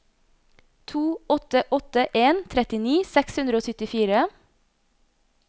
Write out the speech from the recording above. to åtte åtte en trettini seks hundre og syttifire